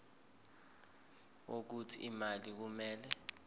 wokuthi imali kumele